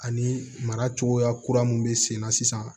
Ani mara cogoya kura min bɛ senna sisan